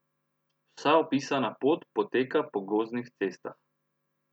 Vsa opisana pot poteka po gozdnih cestah.